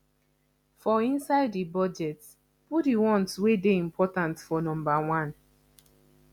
for inside di budget put di ones wey dey important for number one